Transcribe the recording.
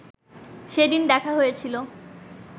সেদিন দেখা হয়েছিল